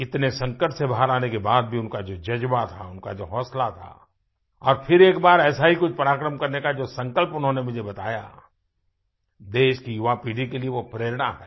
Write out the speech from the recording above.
इतने संकट से बाहर आने के बाद भी उनका जो ज़ज्बा था उनका जो हौसला था और फिर एक बार ऐसा ही कुछ पराक्रम करने का जो संकल्प उन्होंने मुझे बताया देश की युवापीढ़ी के लिए वो प्रेरणा है